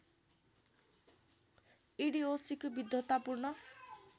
ईडिओसीको विद्वत्तापूर्ण